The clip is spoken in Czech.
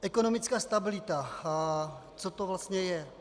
Ekonomická stabilita, co to vlastně je?